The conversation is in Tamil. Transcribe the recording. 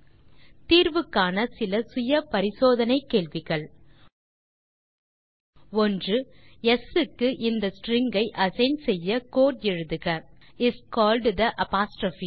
நீங்கள் தீர்வு காண இதோ சில செல்ஃப் அசெஸ்மென்ட் கேள்விகள் 1ஸ் க்கு இந்த ஸ்ட்ரிங் ஐ அசைன் செய்ய கோடு எழுதுக இஸ் கால்ட் தே அப்போஸ்ட்ரோப்